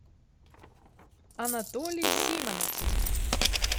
анатолий симонов